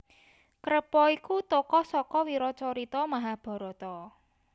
Krepa iku tokoh saka wiracarita Mahabharata